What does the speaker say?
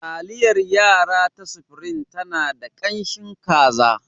Taliyar yara ta supreme tana da ƙanshin kaza.